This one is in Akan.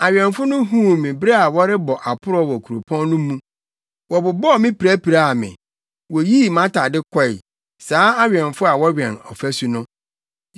Awɛmfo no huu me bere a wɔrebɔ aporɔw wɔ kuropɔn no mu. Wɔbobɔɔ me pirapiraa me; woyii mʼatade kɔe; saa awɛmfo a wɔwɛn afasu no!